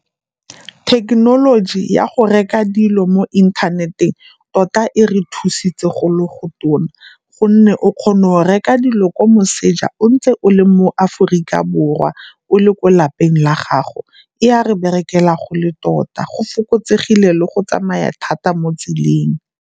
Thekenoloji ya go reka dilo mo inthaneteng tota e re thusitse go le go tona gonne o kgona go reka dilo kwa moseja o ntse o le mo Aforika Borwa o le ko lapeng la gago, e a re berekela go le tota, go fokotsegile le go tsamaya thata mo tseleng.